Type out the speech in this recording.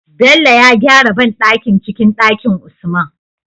Bello ya gyara banɗakin cikin Ɗakin usman